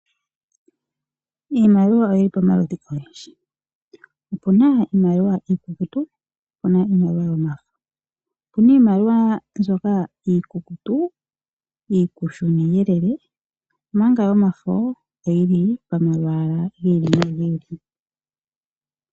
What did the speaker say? Iimaliwa oyi li pamaludhi ogendji. Opu na iimaliwa iikukutu niimaliwa yomafo. Opu na iimaliwa mbyoka iikukutu iikushu niiyelele, omanga yomafo oyi li pamalwaala gi ili nogi ili.